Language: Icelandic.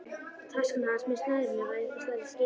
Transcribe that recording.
Taskan hans með snærinu var einhvers staðar í skipinu.